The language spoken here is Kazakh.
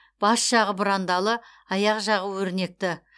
бас жағы бұрандалы аяқ жағы өрнекті